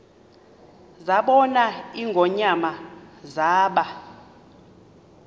zabona ingonyama zaba